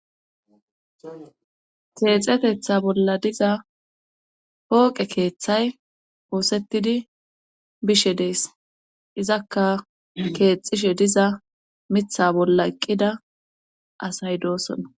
keexetetha bolla diza pooqe keeththay oosettidi bishe dees izakka keexishe diza mitha bolla eqqida asay doosona